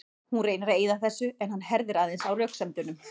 Hún reynir að eyða þessu en hann herðir aðeins á röksemdunum.